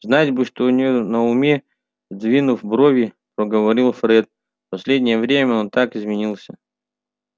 знать бы что у него на уме сдвинув брови проговорил фред последнее время он так изменился